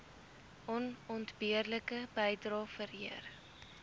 onontbeerlike bydrae vereer